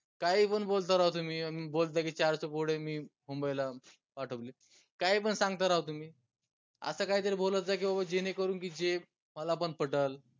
काही पन बोलता राव तुम्ही म बोलता की चारशे पोर मी मुंबईला पाठवले काई पन सांगता राव तुम्ही आस काहीतरी बोलत जा की बाबा जेनेकरून की जे मला पन पटल